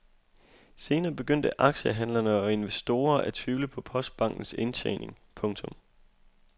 Senere begyndte aktiehandlere og investorer at tvivle på postbankens indtjening. punktum